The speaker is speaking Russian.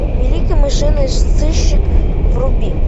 великий мышиный сыщик вруби